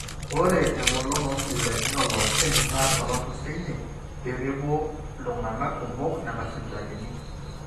ore eng'olon oosipitalini ooloopeny naa sababu sinye pee mepuo iltung'anak kumok nena sipitalini